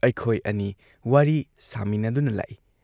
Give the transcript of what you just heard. ꯑꯩꯈꯣꯏ ꯑꯅꯤ ꯋꯥꯔꯤ ꯁꯥꯃꯤꯟꯅꯗꯨꯅ ꯂꯥꯛꯏ ꯫